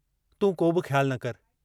तूं कोबि ख़्यालु न करि।